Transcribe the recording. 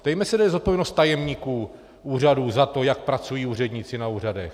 Ptejme se, kde je zodpovědnost tajemníků úřadů za to, jak pracují úředníci na úřadech!